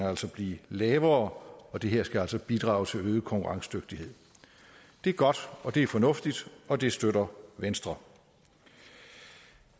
og altså blive lavere det her skal altså bidrage til øget konkurrencedygtighed det er godt og det er fornuftigt og det støtter venstre